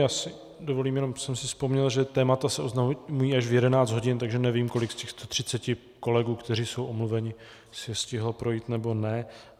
Já si dovolím, jenom jsem si vzpomněl, že témata se oznamují až v 11 hodin, takže nevím, kolik z těch 130 kolegů, kteří jsou omluveni, si je stihlo projít, nebo ne.